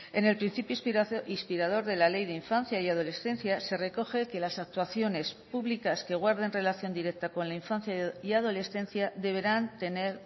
en el principio inspirador de la ley de infancia y adolescencia se recoge que las actuaciones públicas que guarden relación directa con la infancia y adolescencia deberán tener